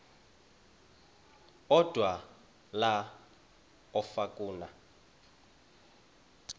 odwa la okafuna